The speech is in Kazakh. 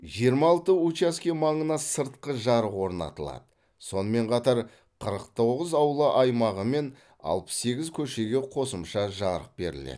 жиырма алты учаске маңына сыртқы жарық орнатылады сонымен қатар қырық тоғыз аула аймағы мен алпыс сегіз көшеге қосымша жарық беріледі